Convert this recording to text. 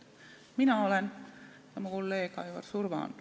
Mina olen ja kolleeg Aivar Surva on.